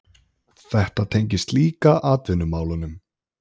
Þetta tengist líka atvinnumálunum